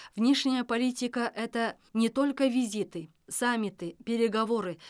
внешняя политика это не только визиты саммиты переговоры